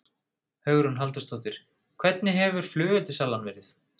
Hugrún Halldórsdóttir: Hvernig hefur flugeldasalan verið?